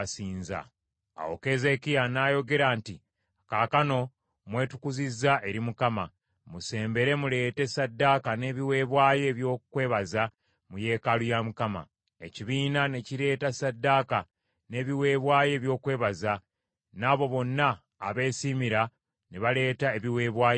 Awo Keezeekiya n’ayogera nti, “Kaakano mwetukuzizza eri Mukama , musembere, muleete ssaddaaka n’ebiweebwayo ebyokwebaza mu yeekaalu ya Mukama .” Ekibiina ne kireeta ssaddaaka n’ebiweebwayo eby’okwebaza, n’abo bonna abeesiimira ne baleeta ebiweebwayo ebyokebwa.